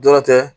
Dɔrɔn tɛ